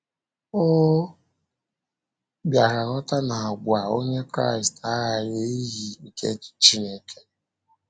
Ọ bịara ghọta na àgwà Onye Kraịst aghaghị iyi nke Chineke.